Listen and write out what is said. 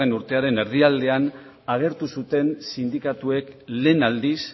urtearen erdialdean agertu zuten sindikatuek lehen aldiz